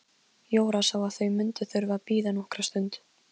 Jóra sá að þau mundu þurfa að bíða nokkra stund.